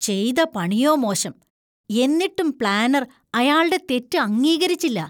ചെയ്ത പണിയോ മോശം. എന്നിട്ടും പ്ലാനർ അയാള്‍ടെ തെറ്റ് അംഗീകരിച്ചില്ല.